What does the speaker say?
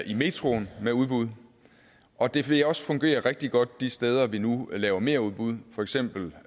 i metroen med udbud og det vil også fungere rigtig godt de steder vi nu laver merudbud for eksempel